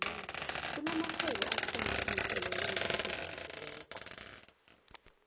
kuna marhwebo ethanga iinkoloyi esisebenzileko